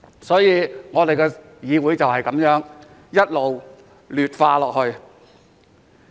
所以，本議會便是這樣一直劣化。